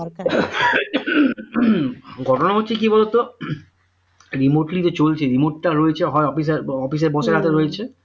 ঘটনাটা হচ্ছে কি বলতো remote নিয়ে যে চলছে remote তা রয়েছে হয় office এর বসের কাছে রয়েছে